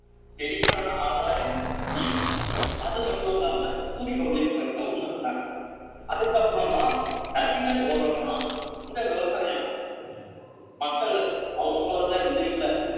செடிக்கான ஆதாயம் நீர் அது மட்டும் இல்லாம சூரிய ஒளிங்கறத உணர்ந்தாங்க அதுக்கப்புறமா நதிகள் ஓரமா இந்த விவசாயம் ஆரம்பிச்சது மக்கள் அவங்களோட விதைகள